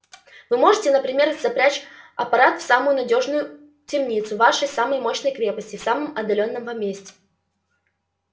вы сможете например запрячь аппарат в самую надёжную темницу вашей самой мощной крепости в самом отдалённом вам месте